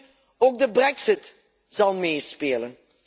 Natuurlijk, ook de brexit zal meespelen.